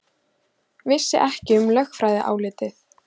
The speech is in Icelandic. Vissi ekki um lögfræðiálit